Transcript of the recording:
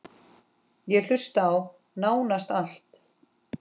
Ég hlusta á: nánast allt